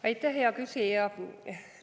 Aitäh, hea küsija!